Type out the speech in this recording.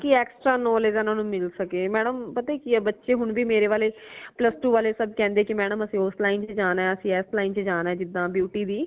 ਤਾਕਿ extra knowledge ਇਨਾ ਨੂ ਮਿਲ ਸਕੇ madam ਪਤਾ ਕਿ ਹੈ ਬੱਚੇ ਹੁਣ ਵੀ ਮੇਰੇ ਵਾਲੇ plus two ਵਾਲੇ ਸਬ ਕਹਿੰਦੇ ਕਿ madam ਅਸੀਂ ਉਸ line ਚ ਜਾਣਾ ਹੈ ਅਸੀਂ ਇਸ line ਚ ਜਾਣਾ ਹੈ ਜਿਦਾ beauty ਦੀ